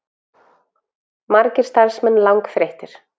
Margir starfsmenn langþreyttir